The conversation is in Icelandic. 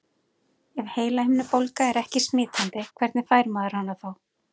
Ef heilahimnubólga er ekki smitandi, hvernig fær maður hana þá?